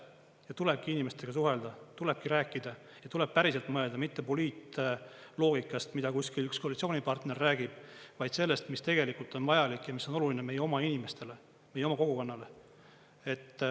Ja tulebki inimestega suhelda, tulebki rääkida, tuleb päriselt mõelda, mitte poliitloogikast, mida kuskil üks koalitsioonipartner räägib, vaid sellest, mis tegelikult on vajalik ja mis on oluline meie oma inimestele, meie oma kogukonnale.